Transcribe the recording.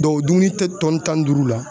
o dumuni tɛ tan ni duuru la.